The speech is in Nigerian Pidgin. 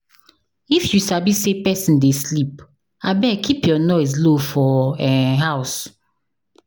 If you sabi say pesin dey sleep, abeg keep your noise low for um house.